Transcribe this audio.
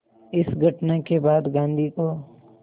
इस घटना के बाद गांधी को